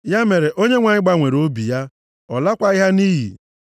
Ya mere, Onyenwe anyị gbanwere obi ya. Ọ lakwaghị ha nʼiyi.